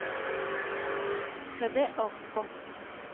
хэ дэ окко